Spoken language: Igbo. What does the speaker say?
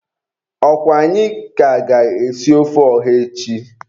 Ọkwa anyị ka ga-esi ofe ọha echi?